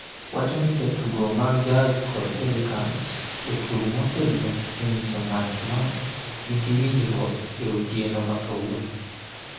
wacho ni jotugo mag Jazz kod Pelicans ochung’ motegno e nyiso ng’at ma nigi winjruok e otieno ma kawuono.